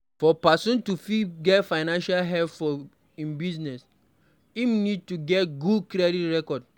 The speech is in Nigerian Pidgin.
For person to fit get financial help for im business im need to get good credit record